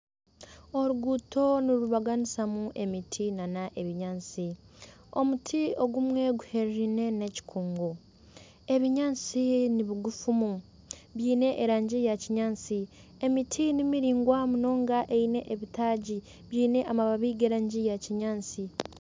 Oruguuto nirubaganisamu emiti n'ebinyaatsi, omuti ogumwe guherine n'ekikungu . Ebinyaatsi ni bigufu byine erangi ya kinyaatsi, emiti ni miraingwa munonga eine ebitaagi byine amababi g'erangi ya kinyaatsi.